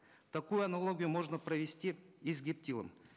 такую аналогию можно провести и с гептилом